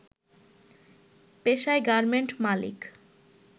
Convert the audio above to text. পেশায় গার্মেন্ট মালিক